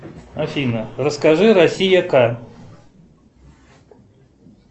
афина расскажи россия ка